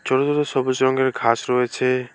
ছোট ছোট সবুজ রঙের ঘাস রয়েছে।